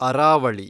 Aravalli